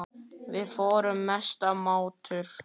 Við vorum mestu mátar.